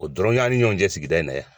O dɔrɔn t'an ni ɲɔgɔn cɛ sigida in na yan